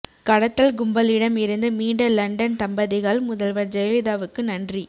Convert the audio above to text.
கடத்தல் கும்பலிடம் இருந்து மீண்ட லண்டன் தம்பதிகள் முதல்வர் ஜெயலிலதாவுக்கு நன்றி